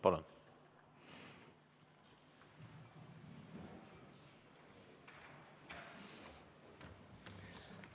Palun!